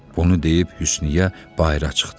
Bunu deyib Hüsniyə bayıra çıxdı.